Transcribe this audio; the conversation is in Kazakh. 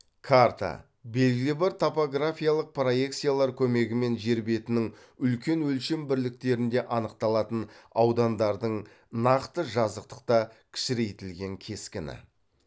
карта белгілі бір топографиялық проекциялар көмегімен жер бетінің үлкен өлшем бірліктерінде анықталатын аудандардың нақты жазықтықта кішірейтілген кескіні